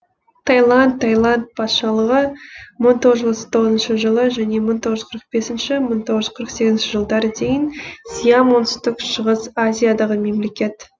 тайланд тайланд патшалығы мың тоғыз жүз отыз тоғызыншы жылы және мың тоғыз жүз қырық бесінші мың тоғыз жүз қырық сегізінші жылдары дейін сиам оңтүстік шығыс азиядағы мемлекет